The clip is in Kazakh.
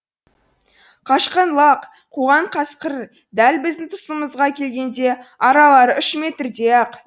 қашқан лақ қуған қасқыр дәл біздің тұсымызға келгенде аралары үш метрдей ақ еді